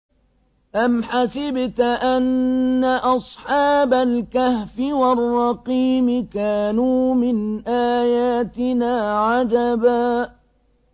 أَمْ حَسِبْتَ أَنَّ أَصْحَابَ الْكَهْفِ وَالرَّقِيمِ كَانُوا مِنْ آيَاتِنَا عَجَبًا